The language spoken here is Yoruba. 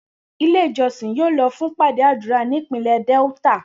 Ile ijọsin yoo lọ fun ipade adura ni ipinlẹ Delta.